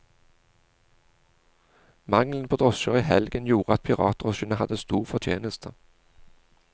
Mangelen på drosjer i helgen gjorde at piratdrosjene hadde stor fortjeneste.